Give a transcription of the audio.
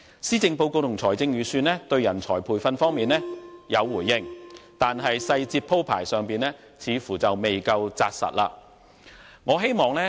施政報告和預算案對人才培訓方面有回應，但細節鋪排上似乎未夠扎實。